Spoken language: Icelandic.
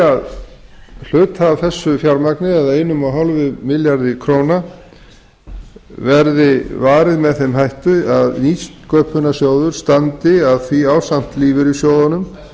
að hluta af þessu fjármagni eða eins og hálfum milljarði króna verði varið með þeim hætti að nýsköpunarsjóður standi að því ásamt lífeyrissjóðunum